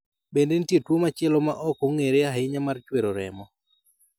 Bende nitie tuwo machielo ma ok ong'ere ahinya mar chwero remo